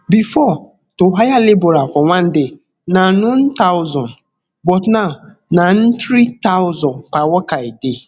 bifor to hire labourer for one day na none thousand but now na nthree thousand per worker a day